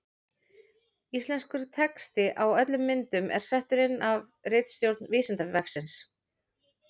Íslenskur texti á öllum myndum er settur inn af ritstjórn Vísindavefsins.